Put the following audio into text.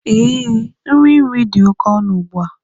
Ee, nri nri dị oke ọnụ ugbu a.